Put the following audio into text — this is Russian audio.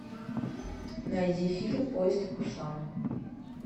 найди фильм поезд в пусан